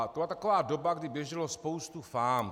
To byla taková doba, kdy běžela spousta fám.